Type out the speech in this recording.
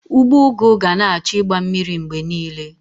Ugbo ugu ga na-achọ igba mmiri mgbe niile